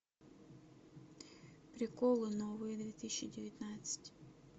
приколы новые две тысячи девятнадцать